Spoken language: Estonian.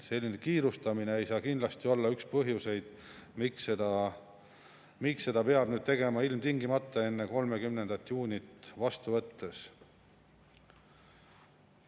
Selline kiirustamine ei saa kindlasti olla üks põhjuseid, miks seda peab tegema ilmtingimata enne 30. juunit vastu võttes.